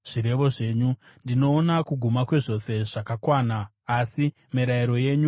Ndinoona kuguma kwezvose zvakakwana, asi mirayiro yenyu haina magumo.